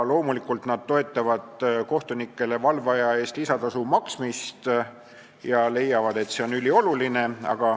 Loomulikult toetavad nad kohtunikele valveaja eest lisatasu maksmist ja leiavad, et see on ülioluline.